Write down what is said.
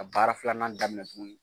Ka baara filanan daminɛ tugunni.